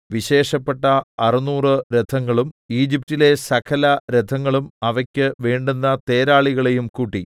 വിശേഷപ്പെട്ട അറുനൂറ് രഥങ്ങളും 600 ഈജിപ്റ്റിലെ സകലരഥങ്ങളും അവയ്ക്ക് വേണ്ടുന്ന തേരാളികളെയും കൂട്ടി